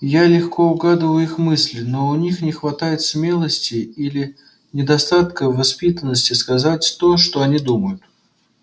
я легко угадываю их мысли но у них не хватает смелости или недостатка воспитанности сказать то что они думают